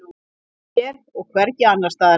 Ég er hér og hvergi annars staðar.